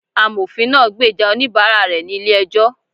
Amofín naa gbeja onibààrá rẹ ni ílé ejó